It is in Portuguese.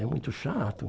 É muito chato.